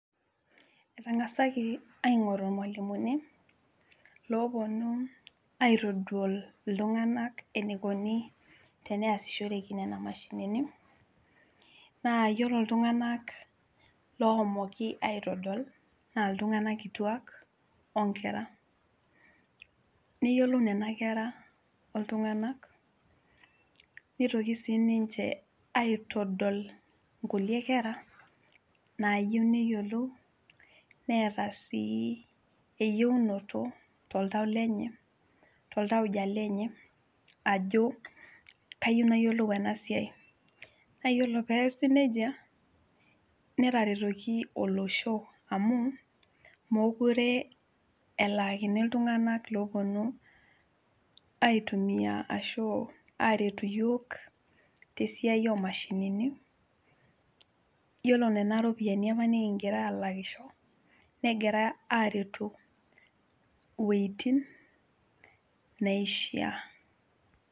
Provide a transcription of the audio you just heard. Etang'asaki aingoru irmualimuni loponu aitodol iltung'anak enikoni teneyasishoreki nena mashinini naa yiolo iltung'anak lohomoki aitodol naa iltung'anak kituak onkera neyiolo nena kera oltung'anak nitoki sininche aitodol nkulie kera nayieu neyiolou neeta sii eyiunoto toltau lenye toltauja lenye ajo kayieu nayiolou ena siai kake yiolo piasi nejia netaretoki olosho amu mokure elaakini iltung'anak loponu aitumia ashu aretu iyiok tesiai omashinini yiolo nena ropiyiani apa nikingira alakisho negira aretu iwuejitin naishia.